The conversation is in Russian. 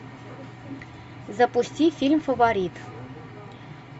запусти фильм фаворит